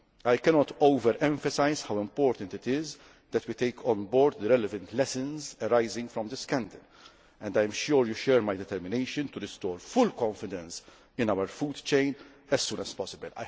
States. I cannot overemphasise how important it is that we take on board the relevant lessons arising out of this scandal, and I am sure you share my determination to restore full confidence in our food chain as soon as